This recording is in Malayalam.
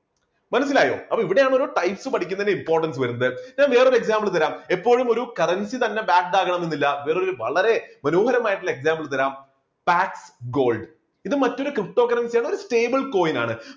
മനസ്സിലായോ അപ്പോൾ ഇവിടെയാണ് ഓരോ types പഠിക്കുന്നതിന്റെ importance വരുന്നത് ഞാൻ വേറെ ഒരു example തരാം, എപ്പോഴും ഒരു currency തന്നെ backed ആവണമെന്നില്ല വേറൊരു വളരെ മനോഹരമായിട്ടുള്ള example തരാം back gold ഇത് മറ്റൊരു ptocurrency യാണ് ഒരു stable coin ആണ്.